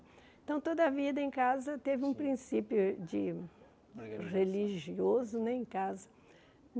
Então toda a vida em casa teve um princípio de religioso né em casa.